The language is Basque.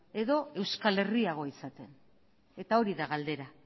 edo euskal herriago izaten eta hori da galdera